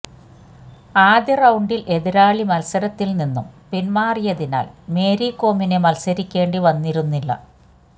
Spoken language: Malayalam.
ആദ്യ റൌണ്ടിൽ എതിരാളി മത്സരത്തിൽ നിന്നും പിന്മാറിയതിനാൽ മേരി കോമിന് മത്സരിക്കേണ്ടി വന്നിരുന്നില്ല